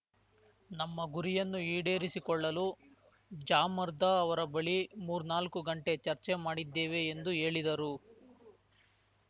ನಮ್ಮ ಗುರಿಯನ್ನು ಈಡೇರಿಸಿಕೊಳ್ಳಲು ಜಾಮರ್ದಾ ಅವರ ಬಳಿ ಮೂರ್ನಾಲ್ಕು ಗಂಟೆ ಚರ್ಚೆ ಮಾಡಿದ್ದೇವೆ ಎಂದು ಹೇಳಿದರು